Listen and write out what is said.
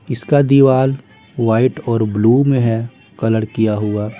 इसका दीवार वाइट और ब्लू में है कलर किया हुआ।